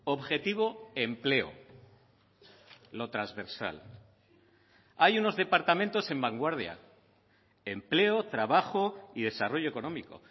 objetivo empleo lo transversal hay unos departamentos en vanguardia empleo trabajo y desarrollo económico